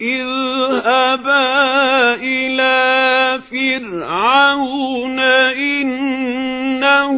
اذْهَبَا إِلَىٰ فِرْعَوْنَ إِنَّهُ